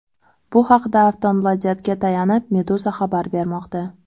Bu haqda Aftonbladet’ga tayanib, Meduza xabar bermoqda .